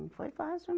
Não foi fácil